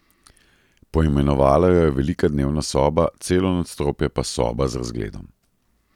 Poimenovala jo je Velika dnevna soba, celo nadstropje pa Soba z razgledom.